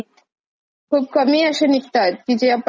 की जे आपण अशे खूप वर्षांनंतरही ऐकू.